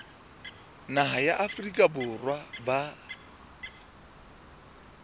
naha ya afrika borwa ba